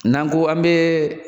N'an ko an bee